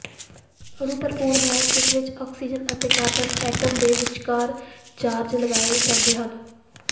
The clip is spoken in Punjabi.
ਅਣੂ ਭਰਪੂਰ ਹੈ ਜਿਸ ਵਿਚ ਆਕਸੀਜਨ ਅਤੇ ਕਾਰਬਨ ਐਟਮ ਦੇ ਵਿਚਕਾਰ ਚਾਰਜ ਲਗਾਏ ਜਾਂਦੇ ਹਨ